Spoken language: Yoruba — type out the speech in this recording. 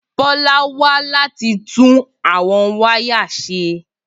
Bola wá láti tún àwọn wáyà ṣe.